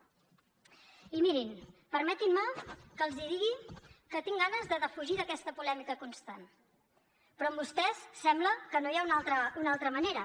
i mirin permetin me que els digui que tinc ganes de defugir aquesta polèmica constant però amb vostès sembla que no hi ha una altra manera